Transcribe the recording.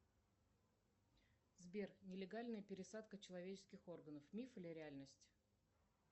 сбер нелегальная пересадка человеческих органов миф или реальность